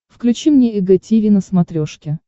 включи мне эг тиви на смотрешке